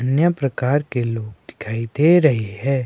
अन्य प्रकार के लोग दिखाई दे रहे हैं।